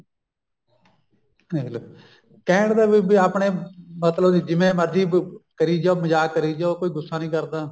ਦੇਖਲੋ ਕਹਿਣ ਦਾ ਵੀ ਆਪਣੇ ਮਤਲਬ ਵੀ ਜਿਵੇਂ ਮਰਜੀ ਕਰੀ ਜਾਉ ਮਜ਼ਾਕ ਕਰੀ ਜਾਉ ਕੋਈ ਗੂੱਸਾ ਨੀ ਕਰਦਾ